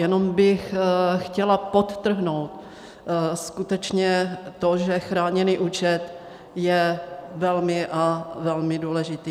Jenom bych chtěla podtrhnout skutečně to, že chráněný účet je velmi a velmi důležitý.